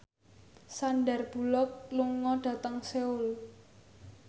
Sandar Bullock lunga dhateng Seoul